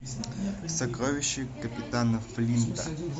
сокровища капитана флинта